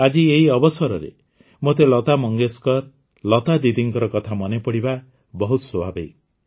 ଆଜି ଏହି ଅବସରରେ ମୋତେ ଲତା ମଙ୍ଗେଶକର ଲତା ଦିଦିଙ୍କ କଥା ମନେପଡ଼ିବା ବହୁତ ସ୍ୱାଭାବିକ